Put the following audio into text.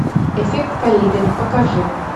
эффект колибри покажи